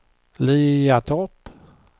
Liatorp